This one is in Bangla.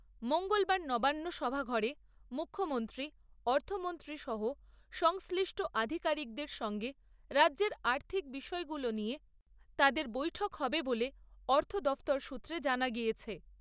মঙ্গলবার নবান্ন সভা ঘরে মুখ্যমন্ত্রী, অর্থমন্ত্রী সহ সংশ্লিষ্ট আধিকারিকদের সঙ্গে রাজ্যের আর্থিক বিষয়গুলো নিয়ে তাদের বৈঠক হবে বলে অর্থ দফতর সূত্রে জানা গিয়েছে।